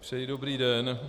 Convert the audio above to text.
Přeji dobrý den.